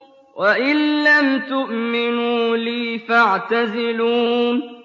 وَإِن لَّمْ تُؤْمِنُوا لِي فَاعْتَزِلُونِ